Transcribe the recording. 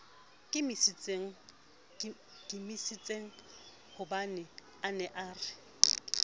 nkimisitsenghobane a ne a re